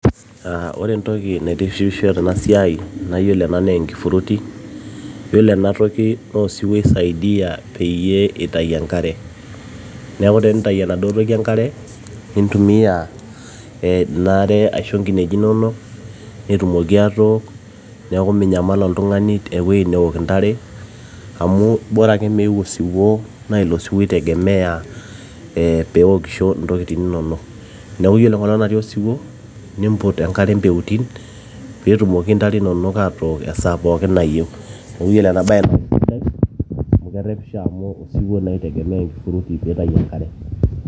aa ore entoki naitishipisho tena siai naa yiolo ena naa enkifuruti yiolo enatoki naa osiwuo oisaidia peyie itai enkare neeku tenitai enaduo toki enkare nintumia ina are aisho iinkineji inonok netumoki atook neeku minyamal oltung'ani ewoi neok intare amu bora ake meu osiwuo naa ilo siwuo itegemeya ee peewokisho intokitin inonok neeku yiolo enkolong natii osiwuo nimput enkare mpeutin peetumoki intare inook atook esaa pooki nayieu neeku yiolo ena baye naa kisidai amu osiwuo naa itegemea enkifuruti piitayu enkare.